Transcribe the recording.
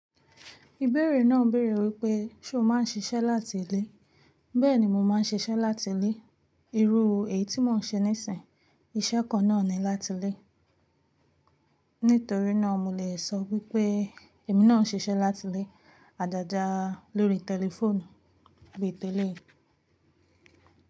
Ìbéèrè náà béèrè wípé, ṣé o má ń sisẹ́ láti ilé? Bẹ́ẹ̀ni mo má ń sisẹ́ láti ilé. Irú èyí tí mò ń ṣe níìsín, iṣẹ́ kan náà ni láti ilé. Nítorí náà mo lè sọ wípé èmi náà ń sisẹ́ láti ilé, àjàjà lórí tẹlifóònù orí tẹlifíṣàn.